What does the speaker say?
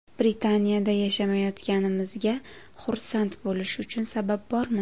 Britaniyada yashamayotganimizga xursand bo‘lish uchun sabab bormi?